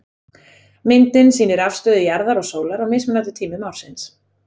Myndin sýnir afstöðu jarðar og sólar á mismunandi tímum ársins.